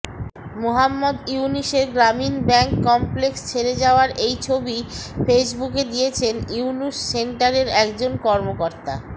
মুহাম্মদ ইউনূসের Grameen bank complex ছেড়ে যাওয়ার এই ছবি ফেইসবুকে দিয়েছেন ইউনূস সেন্টারের একজন কর্মকর্তা